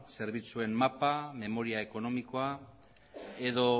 zerbitzuen mapa memoria ekonomikoa edo